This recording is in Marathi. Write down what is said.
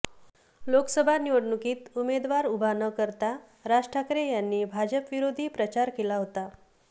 लोकसभा निवडणुकीत उमेदवार उभा न करता राज ठाकरे यांनी भाजपविरोधी प्रचार केला होता